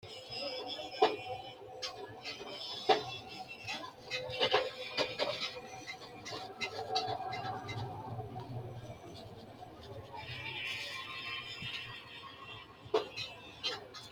Misile aana la’inannihanna huwattinoonniha Itophiyu malaatu afiinni xawisse Misile aana la’inannihanna huwattinoonniha Itophiyu malaatu afiinni xawisse Misile aana la’inannihanna huwattinoonniha.